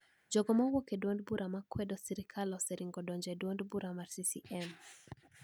Jogo ma wuok e duond bura ma kwedo sirkal oseringo donjo e duond bura mar CCM